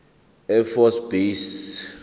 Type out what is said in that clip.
air force base